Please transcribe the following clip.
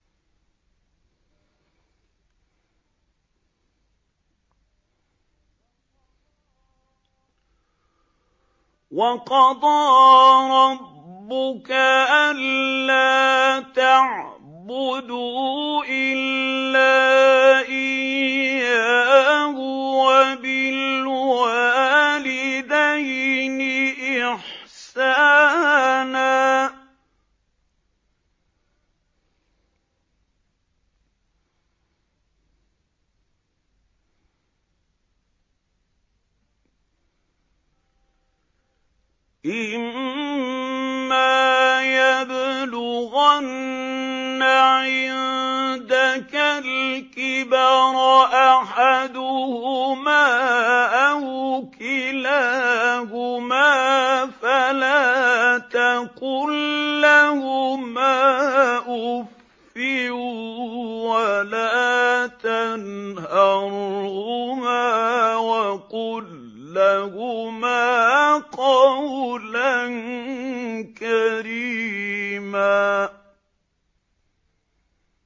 ۞ وَقَضَىٰ رَبُّكَ أَلَّا تَعْبُدُوا إِلَّا إِيَّاهُ وَبِالْوَالِدَيْنِ إِحْسَانًا ۚ إِمَّا يَبْلُغَنَّ عِندَكَ الْكِبَرَ أَحَدُهُمَا أَوْ كِلَاهُمَا فَلَا تَقُل لَّهُمَا أُفٍّ وَلَا تَنْهَرْهُمَا وَقُل لَّهُمَا قَوْلًا كَرِيمًا